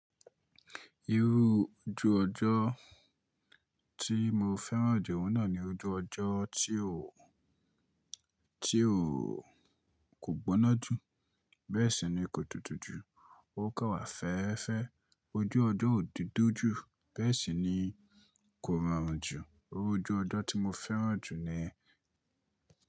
Irú ojú ọjọ́ tí mo fẹ́ràn jù òun náà ni ojú ọjọ́ tí ó, tí ó kò gbóná jù, bẹ́ẹ̀ sì ni kò tútú jù, ó kà wá fẹ́ẹ́fẹ́. Ojú ọjọ́ ò dudu jù, bẹ́ẹ̀ sì ni kò rọrùn jù. Irú ojú ọjọ́ tí mo fẹ́ràn jù ni.